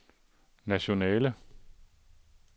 nationale